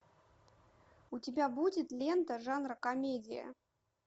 у тебя будет лента жанра комедия